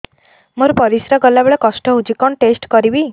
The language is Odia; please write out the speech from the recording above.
ମୋର ପରିସ୍ରା ଗଲାବେଳେ କଷ୍ଟ ହଉଚି କଣ ଟେଷ୍ଟ କରିବି